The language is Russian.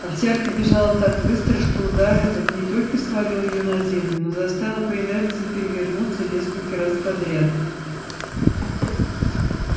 овчарка бежала так быстро что удар этот не только свалил её на землю но заставил по инерции перевернуться несколько раз подряд